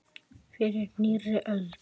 Fyrir nýrri öld!